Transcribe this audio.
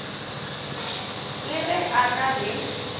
le ge a na le